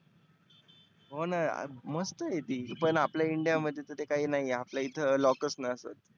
हो ना मस्त आहे ती. पण आपल्या India मध्ये ते काही नाहीए आपल्या इथंं lockers नसतंं.